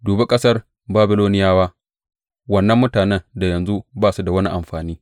Dubi ƙasar Babiloniyawa, wannan mutanen da yanzu ba su da wani amfani!